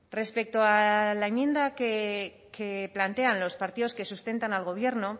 respecto a la enmienda que plantean los partidos que sustentan al gobierno